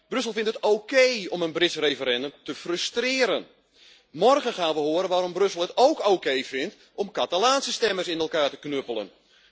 Brussel vindt het oké om een Brits referendum te frustreren. Morgen gaan we horen waarom Brussel het ook oké vindt om Catalaanse stemmers in elkaar te knuppelen.